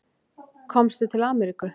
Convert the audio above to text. Komstu til Ameríku?